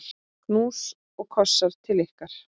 Knús og kossar til ykkar.